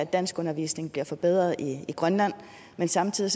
at danskundervisningen bliver forbedret i grønland men samtidig